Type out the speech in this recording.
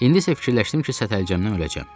İndi isə fikirləşdim ki, sətəlcəmdən öləcəm.